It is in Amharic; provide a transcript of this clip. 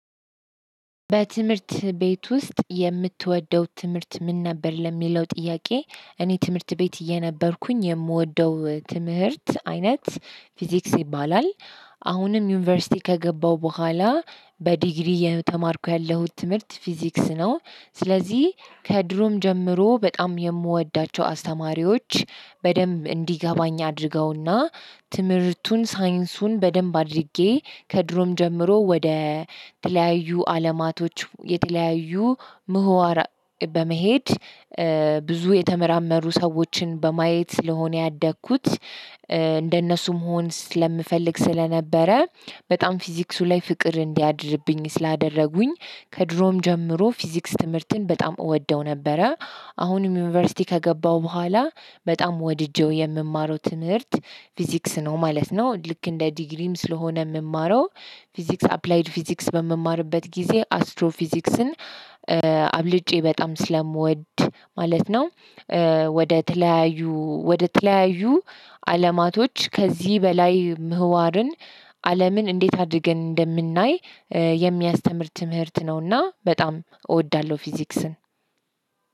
በትምህርት ቤት ውስጥ የምትወደው ትምህርት ምን ነበር ለሚለው ጥያቄ? እኔ ትምህርት ቤት እየነበርኩኝ የምወደው ትምህርት አይነት ፊዚክስ ይባላል። አሁንም ዩኒቨርሲቲ ከገባሁ በኋላ በዲግሪ የተማርኩ ያለሁት ትምህርት ፊዚክስ ነው። ስለዚህ ከድሮም ጀምሮ በጣም የምወዳቸው አስተማሪዎች በደንብ እንዲገባኝ አድርገውና ትምህርቱን ሳይንሱን በደንብ አድርጌ ከድሮም ጀምሮ ወደ ተለያዩ አለማቶች የተለያዩ ምሁራን በመሄድ። ብዙ የተመራመሩ ሰዎችን በማየት ስለሆነ ያደግኩት እንደነሱ መሆን ስለምፈልግ ስለነበረ በጣም ፊዚክሱ ላይ ፍቅር እንዲያድርብኝ ስላደረጉኝ። ከድሮም ጀምሮ ፊዚክስ ትምህርትን በጣም እወደው ነበረ። አሁንም ዩኒቨርሲቲ ከገባሁ በኋላ በጣም ወድጄው የምማረው ትምህርት ፊዚክስ ነው ማለት ነው። ልክ እንደ ዲግሪም ስለሆነ የምማረው ፊዚክስ አፕላይድ ፊዚክስ በምማርበት ጊዜ አስትሮ ፊዚክስን አብልጬ በጣም ስለምወድ ማለት ነው። ወደ ተለያዩ ወደ ተለያዩ አለማቶች ከዚህ በላይ ምህዋርን። አለምን እንዴት አድርገን እንደምናይ የሚያስተምር ትምህርት ነውና በጣም እወዳለሁ ፊዚክስን።